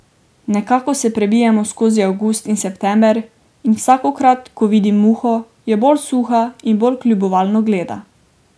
Nekako se prebijemo skozi avgust in september in vsakokrat, ko vidim Muho, je bolj suha in bolj kljubovalno gleda.